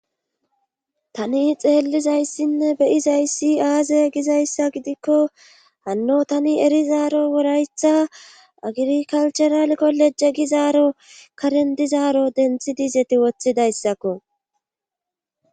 tani xeellizayssinne beyizayssi aaze gizayssa gidikko hanno tani erizaaro woraytha agrikalthural kolejje gizaaro karen dizaaro denthi dizeti woththidayssakko